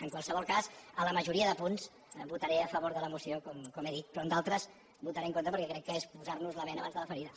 en qualsevol cas a la majoria de punts votaré a favor de la moció com he dit però en d’altres votaré en contra perquè crec que és posar nos la bena abans de la ferida